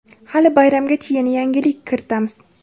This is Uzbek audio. hali bayramgacha yana yangilik kiritamiz.